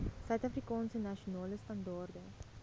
suidafrikaanse nasionale standaarde